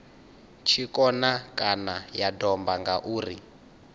tshikona kana ya domba ngauri